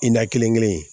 I n'a kelen kelen kelen in